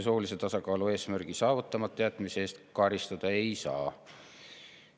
Soolise tasakaalu eesmärgi saavutamata jätmise eest karistada ei saa.